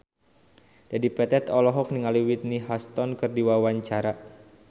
Dedi Petet olohok ningali Whitney Houston keur diwawancara